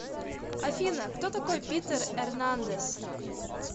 афина кто такой питер эрнандес